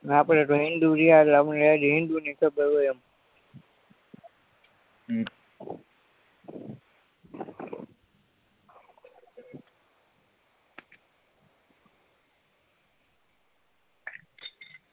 આપણેતો હિન્દુર્યા એટલે આપણેતો હજી હિન્દુ ની ખબર હોય એમ હમ